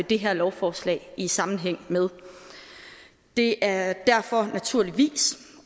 det her lovforslag i sammenhæng med det er derfor naturligvis